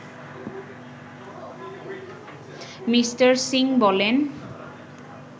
me: Singh বলেন